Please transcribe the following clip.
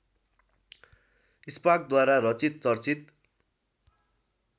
स्पार्कद्वारा रचित चर्चित